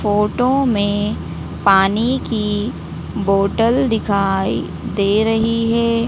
Photo में पानी की बोतल दिखाई दे रही है।